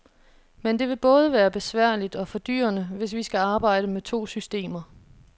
Men det vil både være besværligt og fordyrende, hvis vi skal arbejde med to systemer.